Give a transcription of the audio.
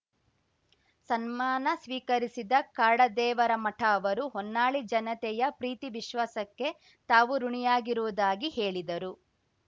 ಸನ್ಮಾನ ಸ್ವೀಕರಿಸಿದ ಕಾಡದೇವರಮಠ ಅವರು ಹೊನ್ನಾಳಿ ಜನತೆಯ ಪ್ರೀತಿ ವಿಶ್ವಾಸಕ್ಕೆ ತಾವು ಋುಣಿಯಾಗಿರುವುದಾಗಿ ಹೇಳಿದರು